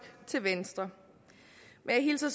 til venstre men jeg hilser